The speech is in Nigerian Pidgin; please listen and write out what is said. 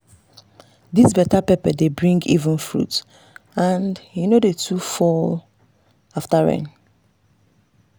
this better pepper dey bring even fruit and e no too dey fall after rain.